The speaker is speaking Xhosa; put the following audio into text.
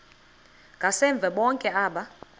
ngasemva bonke aba